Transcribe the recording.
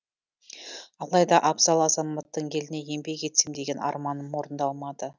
алайда абзал азаматтың еліне еңбек етсем деген арманы орындалмады